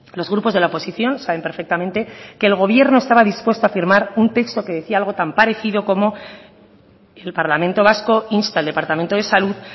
los grupos de la oposición saben perfectamente que el gobierno estaba dispuesto a firmar un texto que decía algo tan parecido como el parlamento vasco insta al departamento de salud